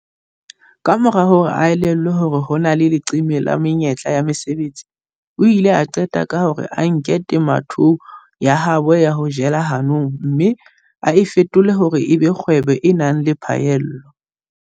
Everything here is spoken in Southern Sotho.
Kamora ho elellwa hore ho na le leqeme la menyetla ya mesebetsi, o ile a qeta ka hore a nke temothuo ya habo ya ho jela hanong mme a e fetole hore e be kgwebo e nang le phaello.